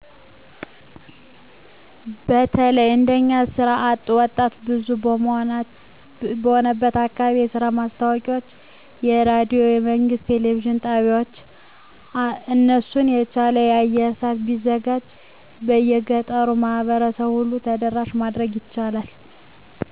በተለይ እንደኛ የስራ አጥ ወጣት ብዙ በሆነበት አካባቢ የስራ ማስታወቂያወች በሬዲዮና በመንግስት የቴሌቪዥን ጣቢያወች አራሱን የቻለ የአየር ሰአት ቢዘጋጅ የገጠሩን ማህበረሰብ ሁሉ ተደራሽ ማድረግ ይቻላል።